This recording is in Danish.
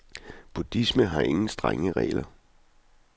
Buddhismen har ingen strenge regler.